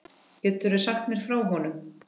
Geturðu sagt mér frá honum?